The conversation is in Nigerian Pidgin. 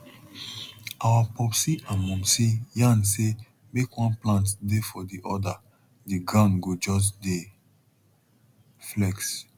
our popsi and momsi yarn say make one plant dey for the other the ground go just dey flex